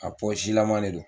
A pɔsilama de don